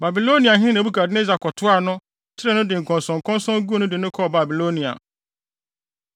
Babiloniahene Nebukadnessar kɔtoaa no, kyeree no de nkɔnsɔnkɔnsɔn guu no de no kɔɔ Babilonia.